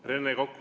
Rene Kokk.